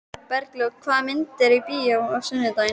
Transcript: Bergljót, hvaða myndir eru í bíó á sunnudaginn?